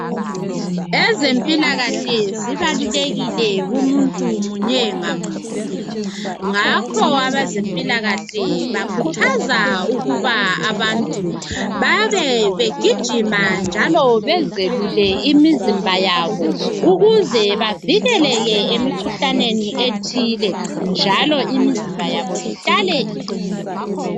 Ezempilakahle zibalulekile kumuntu munye ngamunye ngakho abezempilakahle bakhuthaza ukuba abantu babebegijima njalo bezelule imizimba yabo ukuze bavikeleke emikhuhlaneni ethile njalo imizimba yabo ihlale iqinile